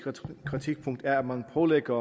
kritikpunkt er at man pålægger